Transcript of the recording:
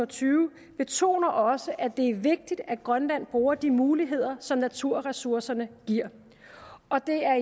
tyve betoner også at det er vigtigt at grønland bruger de muligheder som naturressourcerne giver og det er